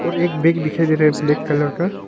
और एक बैग दिखाई दे रहा है ब्लैक कलर का।